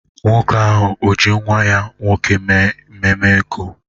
Nwoke ahụ ọ ji nwa ya nwoke mee ememe ego?